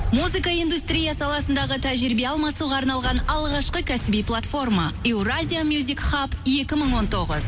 музыка индустрия саласындағы тәжірибе алмасуға арналған алғашқы кәсіби платформа евразия мюзик хаб екі мың он тоғыз